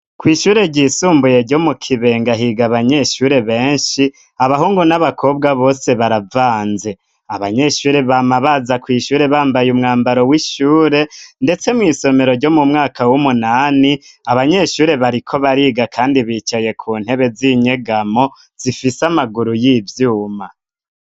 Kw' ishure ryisumbuye ryo mu Kibenga higa abanyeshure benshi, abahungu n'abakobwa bose baravanze. Abanyeshure bama baza kw' ishure bambaye umwambaro w'ishure, ndetse mw' isomero ryo mu mwaka w'umunani abanyeshure bariko bariga kandi bicaye ku ntebe z'inyegamo zifise amaguru y'ivyuma.